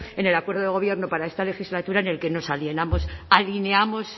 en el acuerdo de gobierno para esta legislatura en el que nos alineamos